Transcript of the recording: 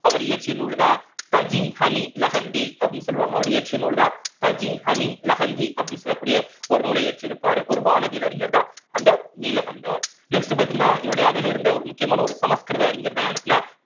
அவர் இயற்றிய நூல்தான் அப்படின்னு சொல்லுவாங்க அவர் இயற்றிய நூல்தான் அப்படின்னு சொல்லக்கூடிய ஒரு நூலை இயற்றியிருப்பார் ஒரு வானவியல் அறிஞர்தான் அந்த நீலகண்டர் next பாத்தீங்கன்னா இவருடைய அவையில இருந்த ஒரு முக்கியமான ஒரு சமஸ்கிருத அறிஞர்தான் யாரு அப்படின்னா